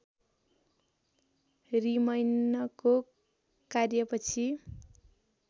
रीमैनको कार्य पछि